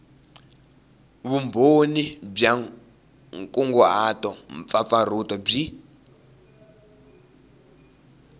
vumbhoni bya nkunguhato mpfapfarhuto byi